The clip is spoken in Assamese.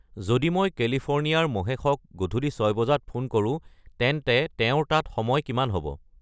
যদি মই কেলিফ'ৰ্ণিয়াৰ মহেশক গধুলি ছয় বজাত ফোন কৰো তেন্তে তেওঁৰ তাত সময় কিমান হ'ব